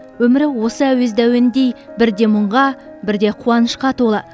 өмірі осы әуезді әуендей бірде мұңға бірде қуанышқа толы